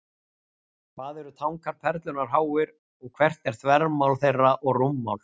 Hvað eru tankar Perlunnar háir, og hvert er þvermál þeirra og rúmmál?